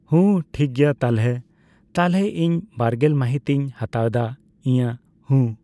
ᱦᱩᱸ, ᱴᱷᱤᱠᱜᱮᱭᱟ ᱛᱟᱞᱦᱮ, ᱛᱟᱞᱦᱮ ᱤᱧ ᱵᱟᱨᱜᱮᱞ ᱢᱟᱦᱤᱛ ᱤᱧ ᱦᱟᱛᱟᱣᱫᱟ ᱤᱭᱟᱹ᱾ ᱦᱩᱸ